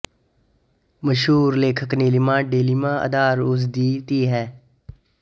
ਮਸ਼ਹੂਰ ਲੇਖਕ ਨੀਲਿਮਾ ਡਾਲਮੀਆ ਅਧਾਰ ਉਸ ਦੀ ਧੀ ਹੈ